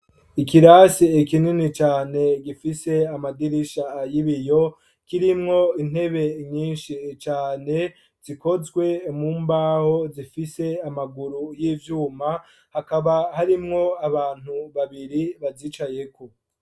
Ikirasi kinini cane gifise amadirisha y'ibiyo kirimwo intebe nyinshi cane, zikozwe mu mbaho zifise amaguru y'ivyuma, hakaba harimwo abantu babiri bazicayeko.